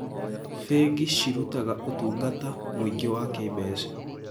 Bengi cirutaga ũtungata mwĩingĩ wa kĩmbeca.